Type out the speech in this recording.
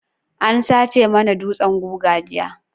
An sace mana dutsan guga jiya.